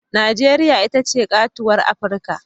Najeriya ita ce katuwar Afirka.